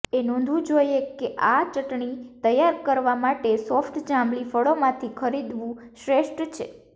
એ નોંધવું જોઈએ કે આ ચટણી તૈયાર કરવા માટે સોફ્ટ જાંબલી ફળોમાંથી ખરીદવું શ્રેષ્ઠ છે